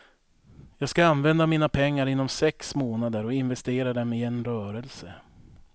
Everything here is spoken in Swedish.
Jag ska använda mina pengar inom sex månader och investera dem i en rörelse.